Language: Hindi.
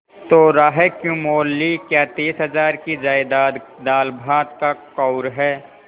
तो रार क्यों मोल ली क्या तीस हजार की जायदाद दालभात का कौर है